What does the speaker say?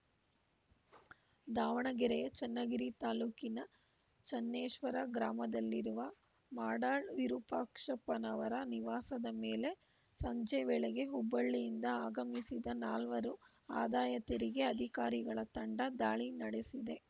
ದಾವಣಗೆರೆಯ ಚನ್ನಗಿರಿ ತಾಲೂಕಿನ ಚನ್ನೇಶ್ವರ ಗ್ರಾಮದಲ್ಲಿರುವ ಮಾಡಾಳ್‌ ವಿರುಪಾಕ್ಷಪ್ಪನವರ ನಿವಾಸದ ಮೇಲೆ ಸಂಜೆ ವೇಳೆಗೆ ಹುಬ್ಬಳ್ಳಿಯಿಂದ ಆಗಮಿಸಿದ ನಾಲ್ವರು ಆದಾಯ ತೆರಿಗೆ ಅಧಿಕಾರಿಗಳ ತಂಡ ದಾಳಿ ನಡೆಸಿದೆ